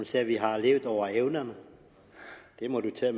sagde at vi har levet over evne det må hun tage